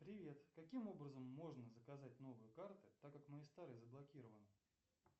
привет каким образом можно заказать новые карты так как мои старые заблокированы